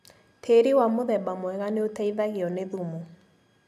Tiri wa mũthemba mwega nĩũteithagio nĩ thumu.